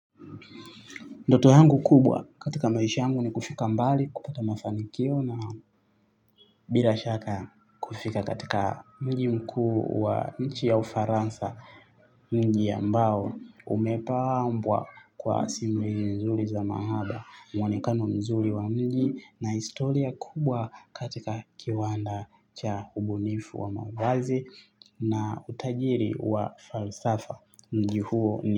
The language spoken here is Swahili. Ndoto yangu kubwa katika maisha uangu ni kufika mbali, kupata mafanikio na bila shaka kufika katika mji mkuu wa nchi ya ufaransa mji ambao umepambwa kwa simulizi mzuri za mahaba, mwonekano mzuri wa mji na historia kubwa katika kiwanda cha ubunifu wa mawazo na utajiri wa falsafa mji huo ni.